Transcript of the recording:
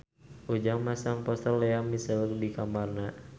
Ujang masang poster Lea Michele di kamarna